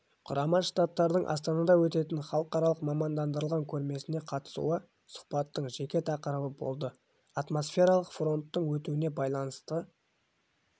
құрама штаттардың астанада өтетін халықаралық мамандандырылған көрмесіне қатысуы сұхбаттың жеке тақырыбы болды атмосфералық фронттардың өтуіне байланысты